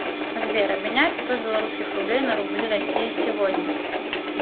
сбер обменять сто белорусских рублей на рубли россии сегодня